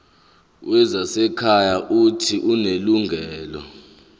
wezasekhaya uuthi unelungelo